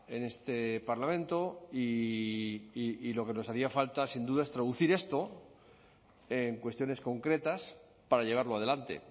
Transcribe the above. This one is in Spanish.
en este parlamento y lo que nos hacía falta sin duda es traducir esto en cuestiones concretas para llevarlo adelante